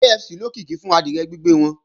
KFC lókìkí fún adìẹ gbígbẹ́ wọn